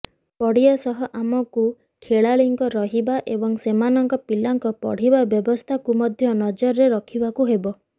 ପଡ଼ିଆ ସହ ଆମକୁ ଖେଳାଳିଙ୍କ ରହିବା ଏବଂ ସେମାନଙ୍କ ପିଲାଙ୍କ ପଢ଼ିବା ବ୍ୟବସ୍ଥାକୁ ମଧ୍ୟ ନଜରରେ ରଖିବାକୁ ହେବ